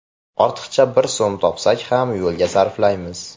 Ortiqcha bir so‘m topsak ham yo‘lga sarflaymiz.